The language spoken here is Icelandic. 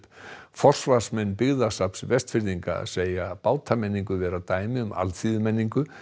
forsvarsmenn Byggðasafns Vestfirðinga segja vera dæmi um alþýðumenningu